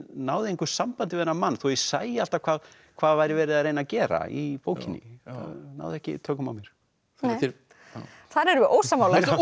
náði engu sambandi við þennan mann þó ég sæi alltaf hvað hvað væri verið að reyna að gera í bókinni náði ekki tökum á mér þar erum við ósammála hún